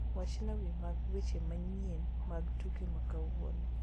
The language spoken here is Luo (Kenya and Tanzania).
Wachna wiye mag weche manyien mag tuke makawuono